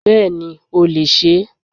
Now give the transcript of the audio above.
Bẹ́ẹ̀ni o lè se é